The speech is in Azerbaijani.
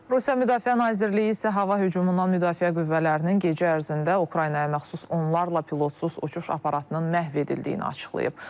Rusiya Müdafiə Nazirliyi isə hava hücumundan müdafiə qüvvələrinin gecə ərzində Ukraynaya məxsus onlarla pilotsuz uçuş aparatının məhv edildiyini açıqlayıb.